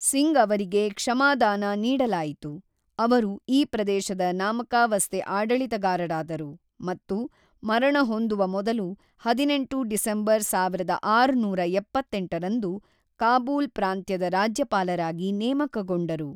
ಸಿಂಗ್ ಅವರಿಗೆ ಕ್ಷಮಾದಾನ ನೀಡಲಾಯಿತು, ಅವರು ಈ ಪ್ರದೇಶದ ನಾಮಕಾವಸ್ತೆ ಆಡಳಿತಗಾರರಾದರು ಮತ್ತು ಮರಣ ಹೊಂದುವ ಮೊದಲು ಹದಿನೆಂಟು ಡಿಸೆಂಬರ್‌ ಸಾವಿರದ ಆರುನೂರ ಎಪ್ಪತ್ತೆಂಟರಂದು ಕಾಬೂಲ್ ಪ್ರಾಂತ್ಯದ ರಾಜ್ಯಪಾಲರಾಗಿ ನೇಮಕಗೊಂಡರು.